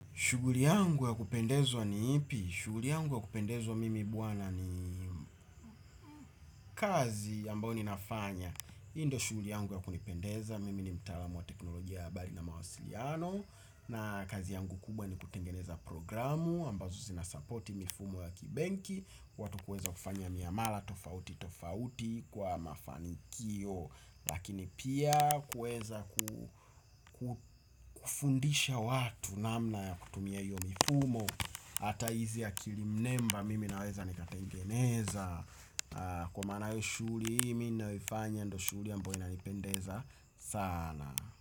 Shughuli yangu ya kupendezwa ni ipi? Shughuli yangu ya kupendezwa mimi bwana ni kazi ambayo ninafanya. Hii ndio shughuli yangu ya kunipendeza. Mimi ni mtaalamu wa teknolojia ya bali na mawasiliano. Na kazi yangu kubwa ni kutengeneza programu ambazo zina sapoti mifumo ya kibenki. Watu kueza kufanya miamala tofauti tofauti kwa mafanikio. Lakini pia kueza kufundisha watu namna ya kutumia hiyo mifumo. Hata hizi akilimnemba mimi naweza nikatengeneza. Kwa maanayo shughuli hii mi naifanya ndo shughuli ambayo inanipendeza sana.